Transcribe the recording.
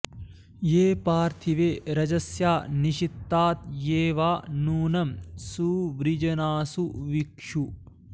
ये पार्थि॑वे॒ रज॒स्या निष॑त्ता॒ ये वा॑ नू॒नं सु॑वृ॒जना॑सु वि॒क्षु